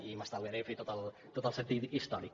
i m’estalviaré de fer tot el sentit històric